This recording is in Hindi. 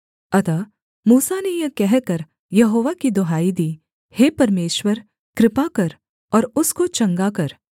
अतः मूसा ने यह कहकर यहोवा की दुहाई दी हे परमेश्वर कृपा कर और उसको चंगा कर